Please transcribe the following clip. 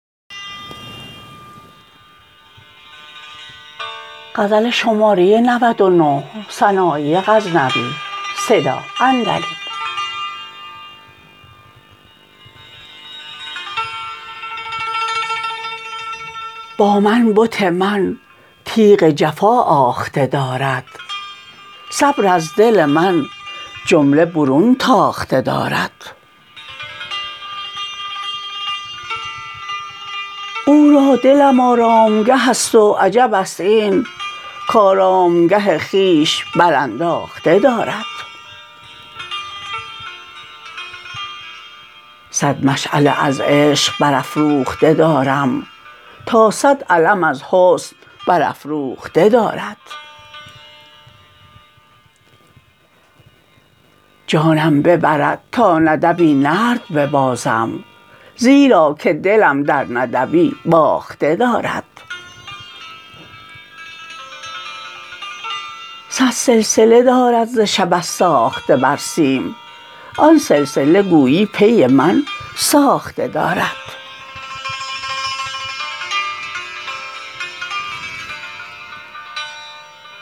با من بت من تیغ جفا آخته دارد صبر از دل من جمله برون تاخته دارد او را دلم آرامگه ست و عجبست این کارامگه خویش برانداخته دارد صد مشعله از عشق برافروخته دارم تا صد علم از حسن برافراخته دارد جانم ببرد تا ندبی نرد ببازم زیرا که دلم در ندبی باخته دارد صد سلسله دارد ز شبه ساخته بر سیم آن سلسله گویی پی من ساخته دارد